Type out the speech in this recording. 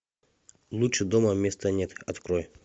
лучше дома места нет открой